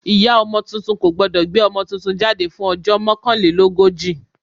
Ìyá ọmọ tuntun kò gbọ́dọ̀ gbé ọmọ tuntun jáde fún ọjọ́ mokanlelogoji.